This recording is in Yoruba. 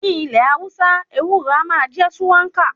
Ní ilẹ̀ Hausa, ewúro a máa jẹ́ ṣúwákà.